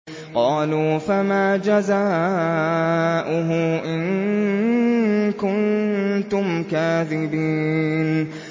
قَالُوا فَمَا جَزَاؤُهُ إِن كُنتُمْ كَاذِبِينَ